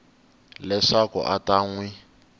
leswaku a ta n wi